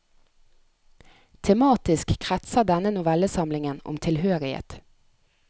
Tematisk kretser denne novellesamlingen om tilhørighet.